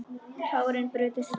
Tárin brutust fram.